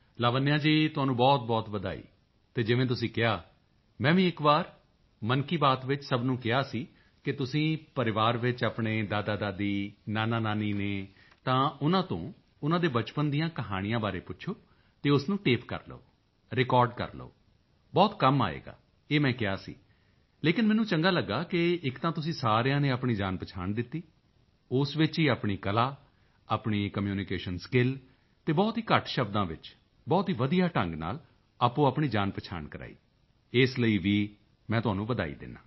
ਲਾਵਣਯਾ ਜੀ ਤੁਹਾਨੂੰ ਬਹੁਤਬਹੁਤ ਵਧਾਈ ਅਤੇ ਜਿਵੇਂ ਤੁਸੀਂ ਕਿਹਾ ਮੈਂ ਵੀ ਇੱਕ ਵਾਰ ਮਨ ਕੀ ਬਾਤ ਵਿੱਚ ਸਭ ਨੂੰ ਕਿਹਾ ਸੀ ਕਿ ਤੁਸੀਂ ਪਰਿਵਾਰ ਵਿੱਚ ਆਪਣੇ ਦਾਦਾਦਾਦੀ ਨਾਨਾਨਾਨੀ ਹਨ ਤਾਂ ਉਨ੍ਹਾਂ ਤੋਂ ਉਨ੍ਹਾਂ ਦੇ ਬਚਪਨ ਦੀਆਂ ਕਹਾਣੀਆਂ ਬਾਰੇ ਪੁੱਛੋ ਅਤੇ ਉਸ ਨੂੰ ਟੇਪ ਕਰ ਲਓ ਰਿਕਾਰਡ ਕਰ ਲਓ ਬਹੁਤ ਕੰਮ ਆਵੇਗਾ ਇਹ ਮੈਂ ਕਿਹਾ ਸੀ ਲੇਕਿਨ ਮੈਨੂੰ ਚੰਗਾ ਲਗਿਆ ਕਿ ਇੱਕ ਤਾਂ ਤੁਸੀਂ ਸਾਰਿਆਂ ਨੇ ਆਪਣੀ ਜਾਣਪਹਿਚਾਣ ਦਿੱਤੀ ਉਸ ਵਿੱਚ ਹੀ ਆਪਣੀ ਕਲਾ ਆਪਣੀ ਕਮਿਊਨੀਕੇਸ਼ਨ ਸਕਿੱਲ ਅਤੇ ਬਹੁਤ ਹੀ ਘੱਟ ਸ਼ਬਦਾਂ ਵਿੱਚ ਬਹੁਤ ਹੀ ਵਧੀਆ ਢੰਗ ਨਾਲ ਆਪਣੀਆਪਣੀ ਜਾਣਪਹਿਚਾਣ ਕਰਵਾਈ ਇਸ ਲਈ ਵੀ ਮੈਂ ਤੁਹਾਨੂੰ ਵਧਾਈ ਦਿੰਦਾ ਹਾਂ